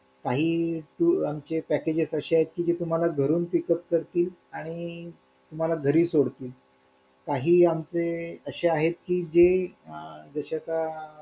काही tour packages असे आहेत की तुम्हाला घरून pick up करतील आणि तुम्हाला घरी सोडतील काही आमचे असे आहेत की जे जसे का